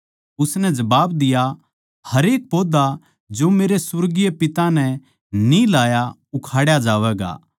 उसनै जबाब दिया हरेक पौधा जो मेरै सुर्गीय पिता नै न्ही लाया उखाड़ा जावैगा